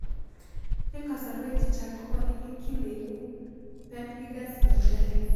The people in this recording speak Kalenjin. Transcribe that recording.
Eng' kasarwek chechang' ko making'en kiy neipu pemhigus vulgaris